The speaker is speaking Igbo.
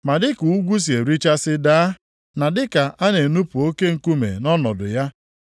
“Ma dịka ugwu si erichasi daa, na dịka a na-enupu oke nkume nʼọnọdụ ya,